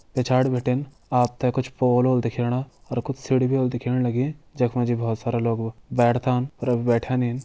पिछाड़ी बिटिन आप तैं कुछ पोल होला दिखेणा और कुछ सीढी भी होली दिखेण लगीं जख मा जी बहोत सारा लोग भी बैठदान और अभी बैठ्या नी।